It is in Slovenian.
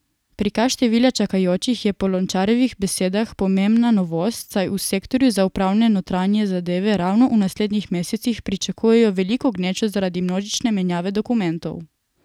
Prikaz števila čakajočih je po Lončarjevih besedah pomembna novost, saj v sektorju za upravne notranje zadeve ravno v naslednjih mesecih pričakujejo veliko gnečo zaradi množične menjave dokumentov.